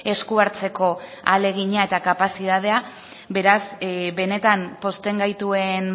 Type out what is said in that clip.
esku hartzeko ahalegina eta kapazitatea beraz benetan pozten gaituen